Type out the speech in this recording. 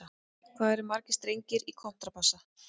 Hvað eru margir strengir í kontrabassa?